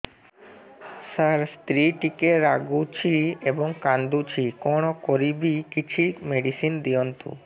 ସାର ସ୍ତ୍ରୀ ଟିକେ ରାଗୁଛି ଏବଂ କାନ୍ଦୁଛି କଣ କରିବି କିଛି ମେଡିସିନ ଦିଅନ୍ତୁ